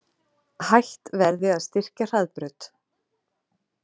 Hætt verði að styrkja Hraðbraut